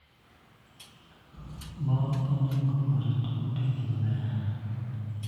Mon onego orit utegi maber.